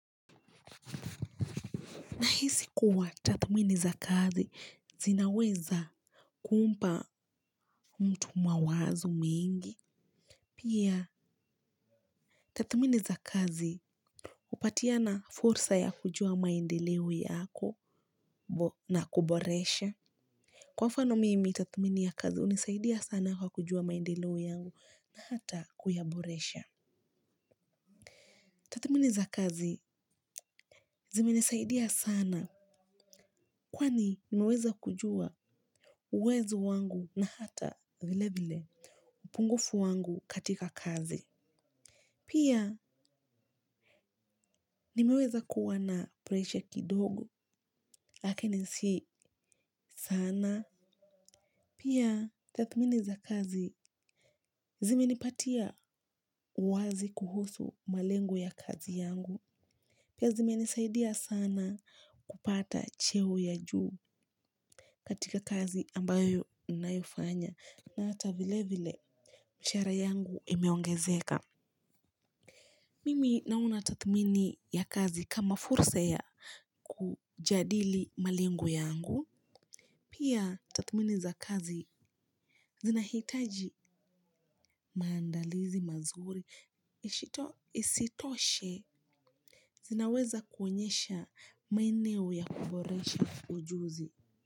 Nahisi kuwa tathmini za kazi zinaweza kuumpa mtu mawazo mingi. Pia tathmini za kazi hupatiana fursa ya kujua maendeleo yako na kuboresha. Kwa mfano mimi tathmini ya kazi hunisaidia sana kwa kujua maendeleo yangu na hata kuyaboresha. Tathmini za kazi zimenisaidia sana kwani nimeweza kujua uwezo wangu na hata vile vile. Upungufu wangu katika kazi. Pia nimeweza kuwa na pressure kidogo lakini si sana. Pia tathmini za kazi zimenipatia uwazi kuhusu malengo ya kazi yangu. Pia zime nisaidia sana kupata cheo ya juu katika kazi ambayo ninayofanya. Na hata vile vile mshahara yangu imeongezeka. Mimi naona tathmini ya kazi kama fursa ya kujadili malengo yangu. Pia tathmini za kazi zinahitaji maandalizi mazuri. Isitoshe zinaweza kuonyesha maeneo ya kuboresha ujuzi.